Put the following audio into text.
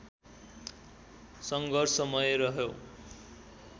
सङ्घर्षमय रह्यो